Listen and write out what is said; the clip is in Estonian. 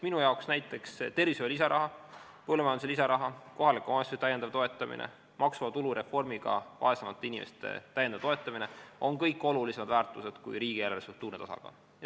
Minu arvates on näiteks tervishoiu lisaraha, põllumajanduse lisaraha, kohaliku omavalitsuse lisatoetamine ja maksuvaba tulu reformiga vaesemate inimeste lisatoetamine kõik olulisemad väärtused kui riigieelarve struktuurne tasakaal.